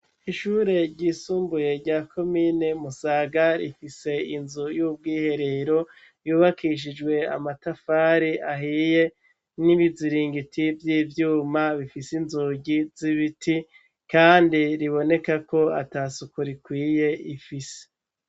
Ishure ryisumbuye rya komine Musaga, rifise inzu y'ubwiherero yubakishijwe amatafari ahiye, n'ibiziringiti vy'ivyuma bifise inzugi z'ibiti, kandi riboneka ko ata suku rikwiye ifise.